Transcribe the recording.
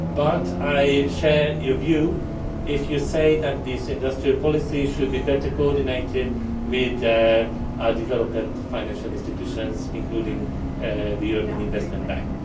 But I share your view when you say that these industrial policies should be better coordinated with the development of our financial institutions, including the European Investment Bank.